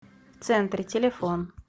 в центре телефон